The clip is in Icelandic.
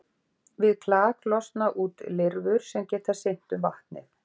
Við klak losna út lirfur sem geta synt um vatnið.